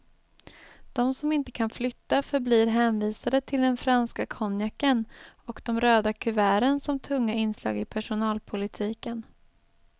De som inte kan flytta förblir hänvisade till den franska konjaken och de röda kuverten som tunga inslag i personalpolitiken.